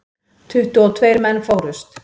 Tuttugu og tveir menn fórust.